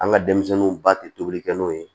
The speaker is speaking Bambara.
An ka denmisɛnninw ba tɛ tobilikɛ n'o ye